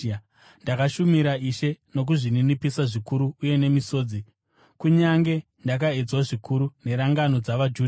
Ndakashumira Ishe nokuzvininipisa zvikuru uye nemisodzi, kunyange ndakaedzwa zvikuru nerangano dzavaJudha.